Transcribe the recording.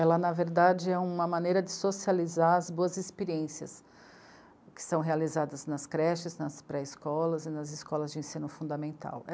Ela, na verdade, é uma maneira de socializar as boas experiências que são realizadas nas creches, nas pré-escolas e nas escolas de ensino fundamental.